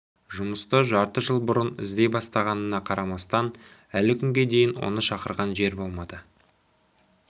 жұмысты жарты жыл бұрын іздей бастағанына қарамастан әлі күнге дейін оны шақырған жер болмады